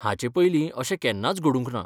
हाचे पयलीं अशें केन्नाच घडूंंक ना.